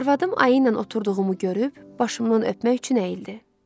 Arvadım ayı ilə oturduğumu görüb başımdan öpmək üçün əyildi.